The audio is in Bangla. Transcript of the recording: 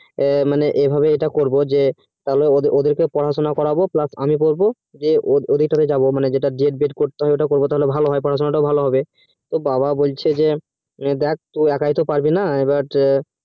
এ মানে এভাবেই যেটা করবো যে তাহলে ওদের কে পড়া শুনা করবো plus আমি করবো যে ওদের সাথে যাবো D. ED করতে হবে ওটা করবো তাহলে ভালো হবে তো বাবা বলছে হ্যাঁ তুই একই তো পারবি না